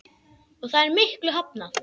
Og það er miklu hafnað.